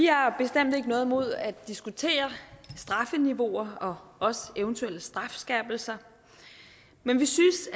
vi har bestemt ikke noget imod at diskutere strafniveauer og også eventuelle strafskærpelser men vi synes